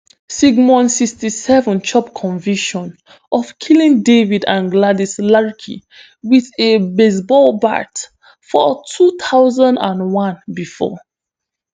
sigmon sixty-seven chop conviction of killing david and gladys larke wit a baseball bat for two thousand and one bifor